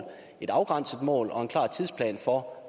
et afgrænset mål og en klar plan for